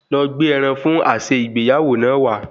Lọ gbé ẹran fún àsè ìgbéyàwó náà wá